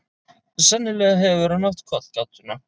Sennilega hefur hann átt kollgátuna.